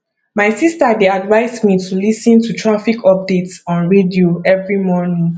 my sister dey advise me to lis ten to traffic updates on radio every morning